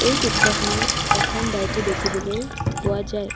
এই চিত্ৰখনত এখন বাইক ও দেখিবলৈ পোৱা যায়।